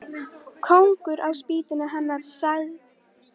Þetta má ekki síst merkja innan guðfræðilegrar siðfræði.